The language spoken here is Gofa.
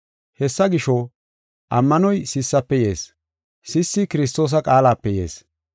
Hessa gisho, ammanoy sissafe yees; sissi Kiristoosa qaalape yees.